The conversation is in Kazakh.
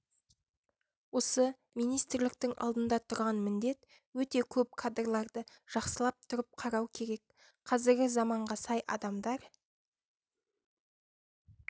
осы министрліктің алдында тұрған міндет өте көп кадрларды жақсылап тұрыпқарау керек қазіргі заманға сай адамдар